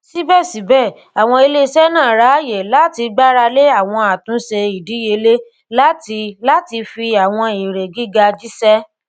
síbẹsíbẹ àwọn iléiṣẹ náà ráàyè láti gbáralé àwọn àtúnṣe ìdíyelé láti láti fi àwọn èrè gíga jíṣẹ